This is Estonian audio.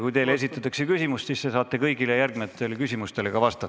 Kui teile esitatakse küsimus, siis te saate kõigile järgmistele küsimustele ka vastata.